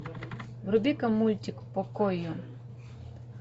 вруби ка мультик покойо